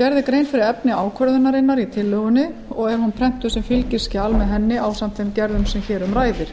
gerð er grein fyrir efni ákvörðunarinnar í tillögunni og er hún prentuð sem fylgiskjal með henni ásamt þeim gerðum sem hér um ræðir